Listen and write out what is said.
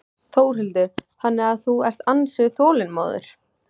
Þórhildur: Þannig að þú ert ansi þolinmóður?